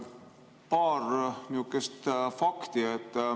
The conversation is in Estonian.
Paar sihukest fakti.